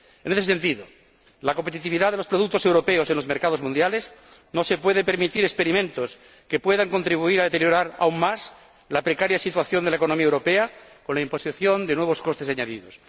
En este sentido, la competitividad de los productos europeos en los mercados mundiales no se puede permitir experimentos que puedan contribuir a deteriorar aún más la precaria situación de la economía europea con la imposición de nuevos costes añadidos.